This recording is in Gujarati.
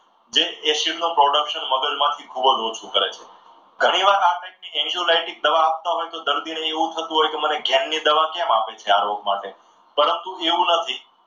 જે acid નું production મગજમાંથી ખૂબ જ ઓછું કરે છે ઘણીવાર દવા આપતા હોય તો દર્દીને એવું થતું હોય કે મને ઘેન ની દવા કેમ આપે છે. આ રોગ માટે પરંતુ એવું નથી.